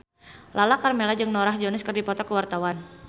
Lala Karmela jeung Norah Jones keur dipoto ku wartawan